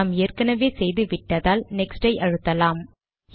நாம் ஏற்கனவே செய்து விட்டதால் நெக்ஸ்ட் அழுத்தலாம்